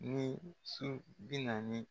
Ni su bi naani